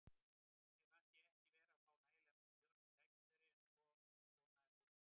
Mér fannst ég ekki vera að fá nægilega mörg tækifæri, en svona er fótboltinn.